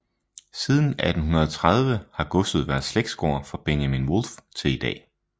Siden 1830 har godset været slægtsgård fra Benjamin Wolff til i dag